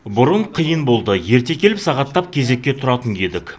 бұрын қиын болды ерте келіп сағаттап кезекке тұратын едік